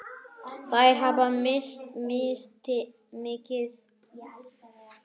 Þær hafa misst mikið.